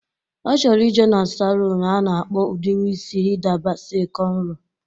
Ọ chọrọ ije na saluun a na-akpa udiri isi Hida Basi kọnro